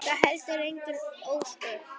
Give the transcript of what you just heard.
Það eru heldur engin ósköp.